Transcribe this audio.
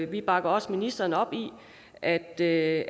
vi bakker også ministeren op i at det